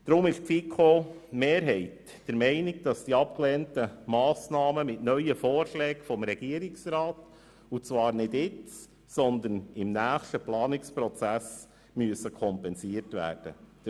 Deshalb ist die FiKo-Mehrheit der Meinung, dass die abgelehnten Massnahmen mit neuen Vorschlägen des Regierungsrats nicht jetzt, aber im nächsten Planungsprozess kompensiert werden müssen.